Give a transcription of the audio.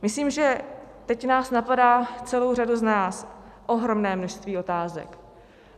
Myslím, že teď nás napadá, celou řadu z nás, ohromné množství otázek.